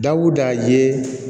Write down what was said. Dawuda ye